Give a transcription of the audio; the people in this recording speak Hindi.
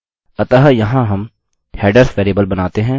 हमें विशेष हैडर्स को भेजने की आवश्यकता है